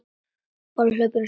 Palli hleypur inn í stofu.